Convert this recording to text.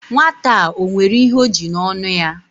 Nwata a, o nwere ihe o ji n'onu ya?